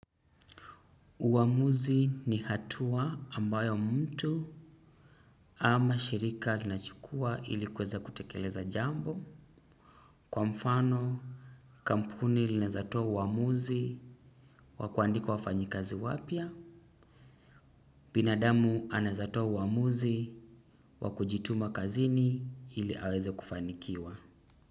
Uamuzi ni hatua ambayo mtu ama shirika lina chukua ili kuweza kutekeleza jambo. Kwa mfano, kampuni linaweza toa uamuzi wa kuandika wafanyi kazi wapya. Binadamu anaweza toa uamuzi wa kujituma kazini ili aweze kufanikiwa.